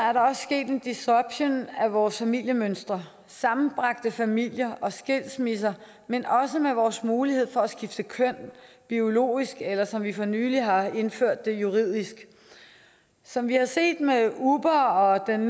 er der også sket en disruption af vores familiemønstre sammenbragte familier og skilsmisser men også i vores mulighed for at skifte køn biologisk eller som vi for nylig har indført det juridisk som vi har set med uber og den